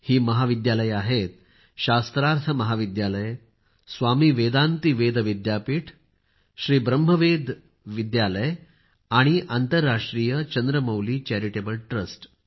ही महाविद्यालये आहेत शास्त्रार्थ महाविद्यालय स्वामी वेदांती वेद विद्यापीठ श्री ब्रह्म वेद विद्यालय आणि आंतरराष्ट्रीय चंद्रमौली चैरिटेबल ट्रस्ट